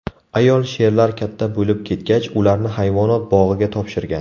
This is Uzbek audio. Ayol sherlar katta bo‘lib ketgach, ularni hayvonot bog‘iga topshirgan.